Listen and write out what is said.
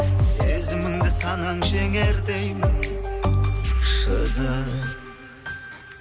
сезіміңді санаң жеңер деймін шыдап